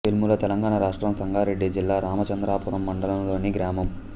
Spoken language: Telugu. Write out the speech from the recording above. వెల్ముల తెలంగాణ రాష్ట్రం సంగారెడ్డి జిల్లా రామచంద్రాపురం మండలంలోని గ్రామం